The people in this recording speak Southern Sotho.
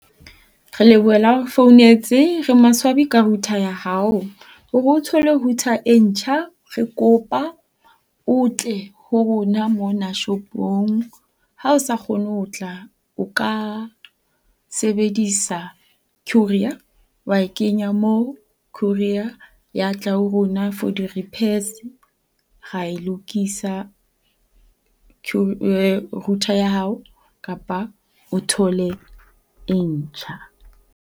Re lebohela ha o re founetse. Re maswabi ka router ya hao. Hore o thole router e ntjha, re kopa o tle ho rona mona shopong. Ha o sa kgone ho tla o ka sebedisa courier wa e kenya mo courier ya tla ho rona for di-repairs ra e lokisa router ya hao kapa o thole e ntjha.